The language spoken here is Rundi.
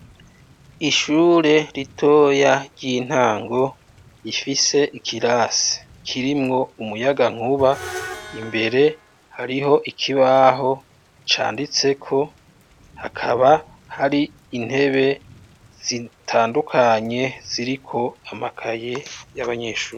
Ishure ritoya ry'intango rifise ikirasi kirimwo umuyagankuba, imbere hariho ikibaho canditseko, hakaba hari intebe zitandukanye ziriko amakaye y'abanyeshure.